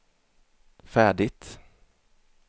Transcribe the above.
färdigt